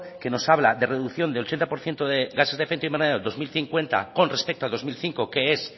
que nos habla de reducción del ochenta por ciento de gases de efecto invernadero dos mil cincuenta con respecto al dos mil cinco que es